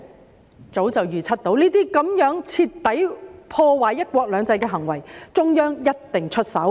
我早已預測對於這些徹底破壞"一國兩制"的行為，中央一定會出手。